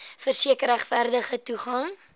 verseker regverdige toegang